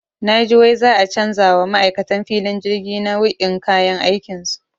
Naji wai za'a canja wa ma'aikan filin jirgi nau'in kayan aikinsu.